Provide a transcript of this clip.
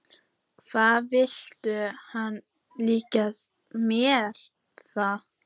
Hvað vill hann líka með það?